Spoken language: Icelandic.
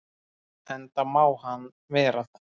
Enda má hann vera það.